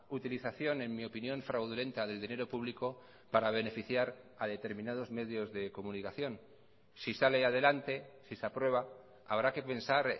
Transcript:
utilización en mi opinión fraudulenta del dinero público para beneficiar a determinados medios de comunicación si sale adelante si se aprueba habrá que pensar